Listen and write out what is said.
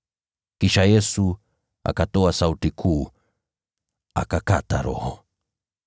Kisha Yesu akatoa sauti kuu, akakata roho.